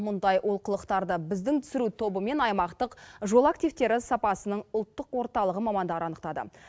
мұндай олқылықтарды біздің түсіру тобы мен аймақтық жол активтері сапасының ұлттық орталығы мамандары анықтады